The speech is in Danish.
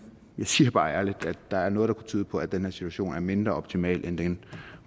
jeg siger bare ærligt at der er noget der kunne tyde på at den her situation er mindre optimal end den